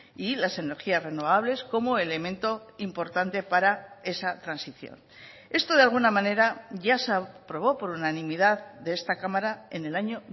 y las energías renovables como elemento importante para esa transición esto de alguna manera ya se aprobó por unanimidad de esta cámara en el año